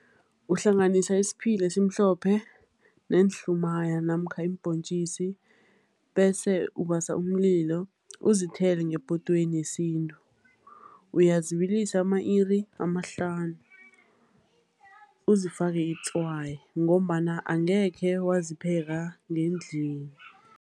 Uhlanganisa isiphila esimhlophe neenhlumaya namkha iimbhontjisi, bese ubasa umlilo, uzithele ngepotweni yesintu. Uyazibilisa ama-iri amahlanu, uzifake itswayi ngombana angekhe wazipheka ngendlini.